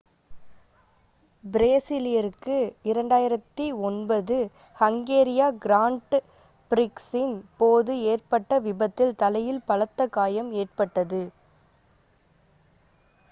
பிரேசிலியருக்கு 2009 ஹங்கேரிய கிராண்ட் பிரிக்ஸின் போது ஏற்பட்ட விபத்தில் தலையில் பலத்த காயம் ஏற்பட்டது